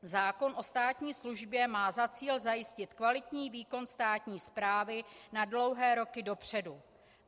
Zákon o státní službě má za cíl zajistit kvalitní výkon státní správy na dlouhé roky dopředu.